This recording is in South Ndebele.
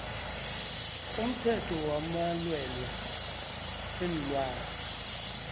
umthetho wamalwelwe weenlwana